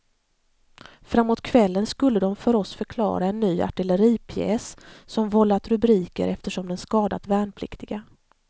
Framåt kvällen skulle de för oss förklara en ny artilleripjäs som vållat rubriker eftersom den skadat värnpliktiga.